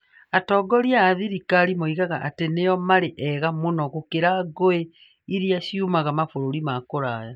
Atongoria a thirikari moigaga atĩ nĩo maarĩ ega mũno gũkĩra ngui iria ciumaga mabũrũri ma kũraya.